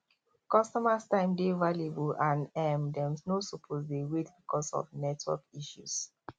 customers time dey valuable and um dem no suppose dey wait because of network issues